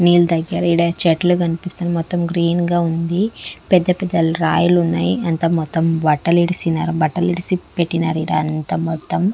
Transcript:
నీల్ దగ్గర ఈడ చెట్లు కన్పిస్తుంది మొత్తం గ్రీన్ గా ఉంది పెద్ద పెద్ద రాయలున్నాయి అంతా మొత్తం బట్టలిడిసినారు బట్టలు ఇడిసిపెట్టినారీడ అంతా మొత్తం.